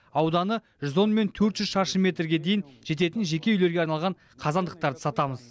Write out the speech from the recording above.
ауданы жүз он мен төрт жүз шаршы метрге дейін жететін жеке үйлерге арналған қазандықтарды сатамыз